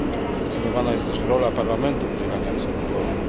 Kwestionowana też jest rola Parlamentu w udzielaniu absolutorium.